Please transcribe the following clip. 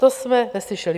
To jsme neslyšeli.